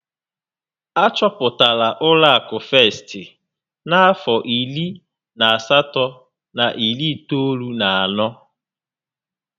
Achọpụtara ụlọ akụ Festị n'afọ iri na asatọ na iri itoolu na anọ